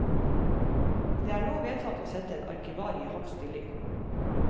Det er nå vedtatt å sette en arkivar i halv stilling.